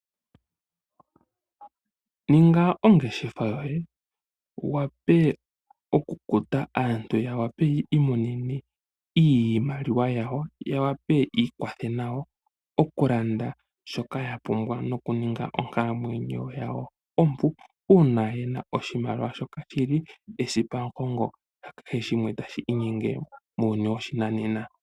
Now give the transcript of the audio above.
Ninga ongeshefa yoye wu wape okukuta aantu ya wape yiimonene iimaliwa yawo ya wape yiikwathe nawo oku landa shoka ya pumbwa nokuninga onkalamwenyo yawo ompu, uuna yena oshimaliwa shoka shili esipamugongo lya keshe shimwe tashi inyenge muuyuuni woshinanena.